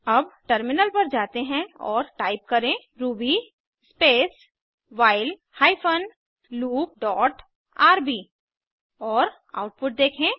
अब टर्मिनल पर जाते हैं और टाइप करें ruby space while hyphen loop dot RB और आउटपुट देखें